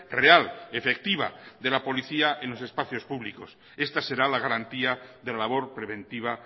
real efectiva de la policía en los espacios públicos esta será la garantía de la labor preventiva